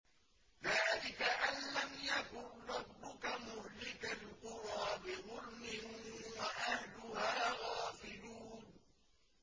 ذَٰلِكَ أَن لَّمْ يَكُن رَّبُّكَ مُهْلِكَ الْقُرَىٰ بِظُلْمٍ وَأَهْلُهَا غَافِلُونَ